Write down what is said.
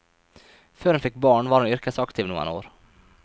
Før hun fikk barn, var hun yrkesaktiv noen år.